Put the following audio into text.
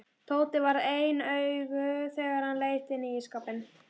Tóti varð ein augu þegar hann leit inn í ísskápinn.